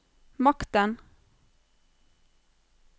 makten